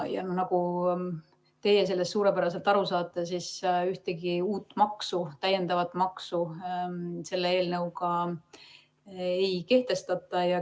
Nagu teie sellest suurepäraselt aru saate, siis ühtegi uut maksu selle eelnõuga ei kehtestata.